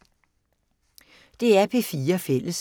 DR P4 Fælles